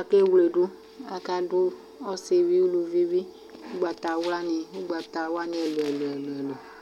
Akewledʋ Akadʋ ɔsɩ bɩ uluvi bɩ ugbatawla nɩ, ugbatawla nɩ elʋ elʋ